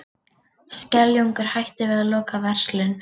Skeljungur hættir við að loka verslun